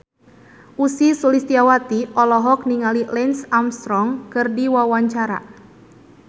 Ussy Sulistyawati olohok ningali Lance Armstrong keur diwawancara